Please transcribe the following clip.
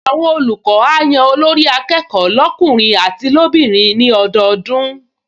Àwọn olùkọ́ á yan Olórí-akẹ́kọ̀ọ́ lọ́kùnrin àti lóbìnrin ní ọdọọdún